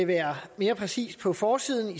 være mere præcist på forsiden